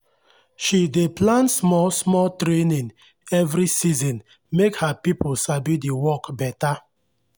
she dey plan small-small training every season make her people sabi the work better.